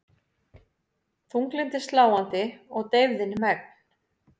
Þunglyndið sláandi og deyfðin megn.